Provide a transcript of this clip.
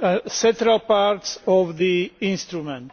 or central parts of the instrument.